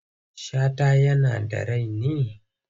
Shata yana da rai ne?